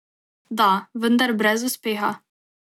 Da, vendar brez uspeha.